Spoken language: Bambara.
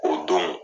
O don